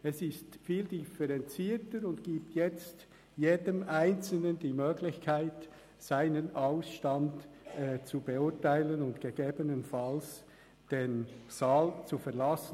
Es ist viel differenzierter und gibt jetzt jedem Einzelnen die Möglichkeit, seinen Ausstand zu beurteilen und gegebenenfalls den Saal zu verlassen.